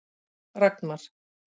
Ragnar